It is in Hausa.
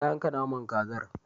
Ta yanka naman kazar.